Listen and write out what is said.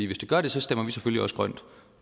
hvis det gør det stemmer vi selvfølgelig også for